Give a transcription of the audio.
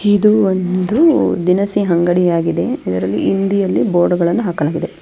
ಇದು ಒಂದು ದಿನಸಿ ಅಂಗಡಿಯಾಗಿದೆ ಇದರಲ್ಲಿ ಹಿಂದಿಯಲ್ಲಿ ಬೋರ್ಡ್ ಗಳನ್ನು ಹಾಕಲಾಗಿದೆ.